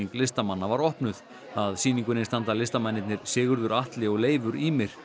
listamanna var opnuð að sýningunni standa listamennirnir Sigurður Atli og Leifur Ýmir